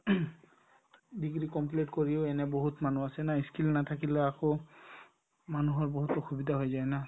degree complete কৰিও এনে বহুত মানুহ আছেনে নাই ই skill নাথাকিলে আকৌ মানুহৰ বহুত অসুবিধা হৈ যায় না